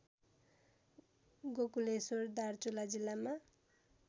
गोकुलेश्वर दार्चुला जिल्लामा